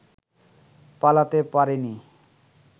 পালাতে পারেনি